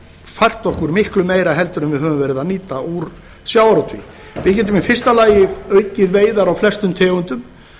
fært okkur miklu meira en við höfum verið að nýta úr sjávarútvegi við getum í fyrsta lagi aukið veiðar á flestum tegundum